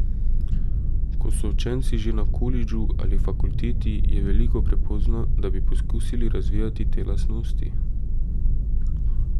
Ko so učenci že na kolidžu ali fakulteti, je veliko prepozno, da bi poskusili razvijati te lastnosti.